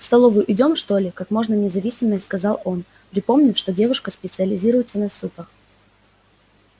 в столовую идём что ли как можно независимее спросил он припомнив что девушка специализируется на супах